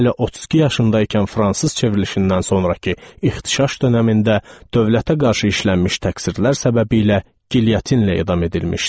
Hələ 32 yaşında ikən fransız çevrilişindən sonrakı ixtişaş dönəmində dövlətə qarşı işlənmiş təqsirlər səbəbilə gilyatinlə edam edilmişdi.